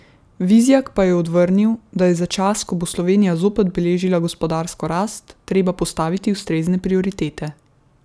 Vizjak pa je odvrnil, da je za čas, ko bo Slovenija zopet beležila gospodarsko rast, treba postaviti ustrezne prioritete.